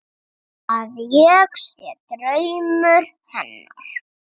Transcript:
Að ég sé draumur hennar.